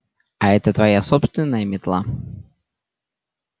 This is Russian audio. а это твоя собственная метла